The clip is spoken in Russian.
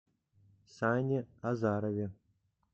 сане азарове